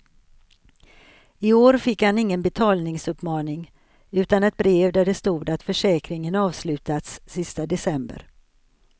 I år fick han ingen betalningsuppmaning, utan ett brev där det stod att försäkringen avslutats sista december.